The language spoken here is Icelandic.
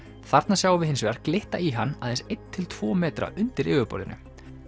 þarna sjáum við hins vegar glitta í hann aðeins einn til tvo metra undir yfirborðinu